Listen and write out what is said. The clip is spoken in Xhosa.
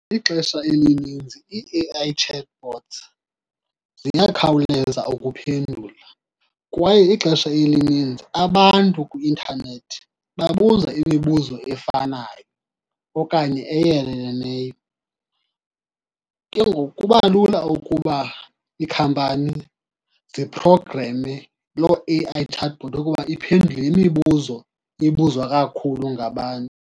Ixesha elininzi ii-A_I chatbots ziyakhawuleza ukuphendula kwaye ixesha elininzi abantu kwi-intanethi babuza imibuzo efanayo okanye eyeleleneyo. Ke ngoku kuba lula ukuba iikhampani ziphrogreme loo A_I chatbot ukuba iphendule le mibuzo ibuzwa kakhulu ngabantu.